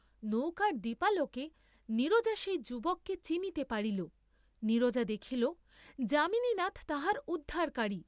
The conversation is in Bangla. নৌকার দীপালোকে নীরজা সেই যুবাকে চিনিতে পারিল, নীরজা দেখিল, যামিনীনাথ তাহার উদ্ধারকারী।